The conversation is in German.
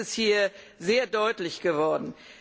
Das ist hier sehr deutlich geworden.